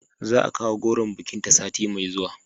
Za a kawo goron bikinta sati mai zuwa